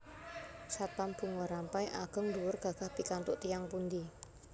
Satpam Bunga Rampai ageng dhuwur gagah pikantuk tiyang pundi